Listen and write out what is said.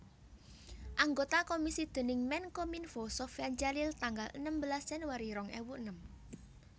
Anggota komisi déning Menkominfo Sofyan Djalil tanggal enem belas Januari rong ewu enem